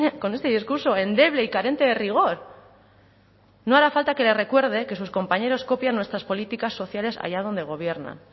con este discurso endeble y carente de rigor no hará falta que le recuerde que sus compañeros copian nuestras políticas sociales allá donde gobiernan